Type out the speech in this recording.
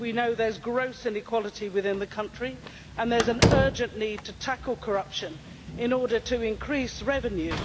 we know that there is gross inequality within the country, and there is an urgent need to tackle corruption in order to increase revenue.